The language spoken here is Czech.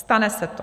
Stane se to.